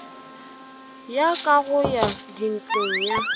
ya kago ya dintlo ya